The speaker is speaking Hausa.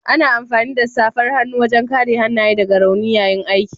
Ana amfani da safar hannu wajen kare hannaye daga rauni yayin aiki.